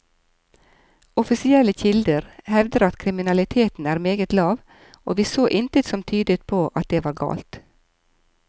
Offisielle kilder hevder at kriminaliteten er meget lav, og vi så intet som tydet på at det var galt.